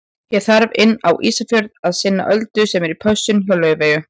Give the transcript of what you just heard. Ég þarf inn á Ísafjörð að sinna Öldu sem er í pössun hjá Laufeyju.